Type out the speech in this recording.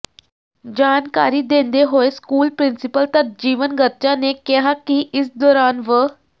ਜਾਣਕਾਰੀ ਦਿੰਦੇ ਹੋਏ ਸਕੂਲ ਪਿ੍ਰੰਸੀਪਲ ਤਰਜੀਵਨ ਗਰਚਾ ਨੇ ਕਿਹਾ ਕਿ ਇਸ ਦੌਰਾਨ ਵ